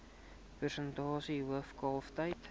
persentasie hoof kalftyd